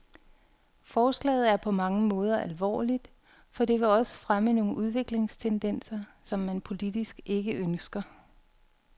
Forslaget er på mange måder alvorligt, for det vil også fremme nogle udviklingstendenser, som man politisk ikke ønsker.